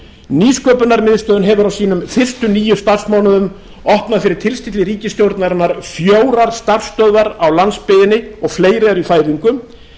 nýsköpunarmiðstöðin hefur á sínum fyrstu níu starfsmánuðum opnað fyrir tilstilli ríkisstjórnarinnar fjórar starfsstöðvar á landsbyggðinni og fleiri eru í fæðingu